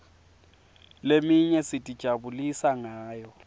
leminye sitijabulisa ngayo